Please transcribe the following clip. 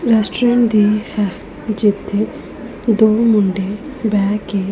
restaurant ਦੀ ਹੈ ਜਿੱਥੇ ਦੋ ਮੁੰਡੇ ਬਹਿ ਕੇ--